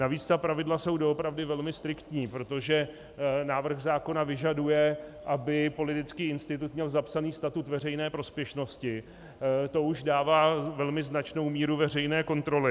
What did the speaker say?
Navíc ta pravidla jsou doopravdy velmi striktní, protože návrh zákona vyžaduje, aby politický institut měl zapsaný statut veřejné prospěšnosti, to už dává velmi značnou míru veřejné kontroly.